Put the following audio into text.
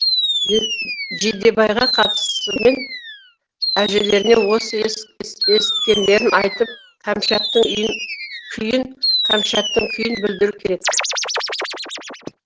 жидебайға қайтысымен әжелеріне осы есіткендерін айтып кәмшаттың күйін білдіру керек